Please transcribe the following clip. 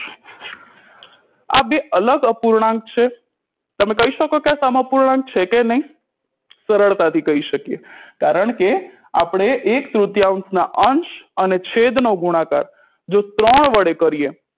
આ બે અલગ અપૂર્ણાંક છે તમે કહી શકો કે આ સમઅપૂર્ણાંક છે કે નહી સરળતાથી કહી શકીએ કારણકે આપણે એક તૃતીયાંસ ના અંશ અને છેદનો ગુણાકાર જો ત્રણ વડે કરીએ